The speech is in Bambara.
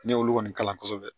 Ne y'olu kɔni kalan kosɛbɛ